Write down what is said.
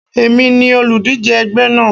Èmi ni olùdíje ẹgbẹ́ náà.